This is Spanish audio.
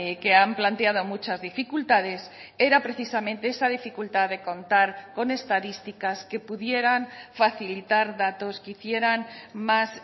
que han planteado muchas dificultades era precisamente esa dificultad de contar con estadísticas que pudieran facilitar datos que hicieran más